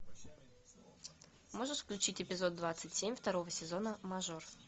можешь включить эпизод двадцать семь второго сезона мажор